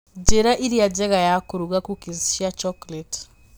Njĩra ĩrĩa njega ya kũruga cookies cia chocolate